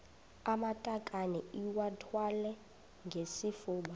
amatakane iwathwale ngesifuba